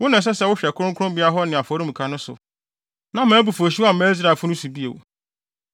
“Wo na ɛsɛ sɛ wohwɛ kronkronbea hɔ ne afɔremuka no so, na mʼabufuwhyew amma Israelfo no so bio.